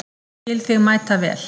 Skil þig mætavel.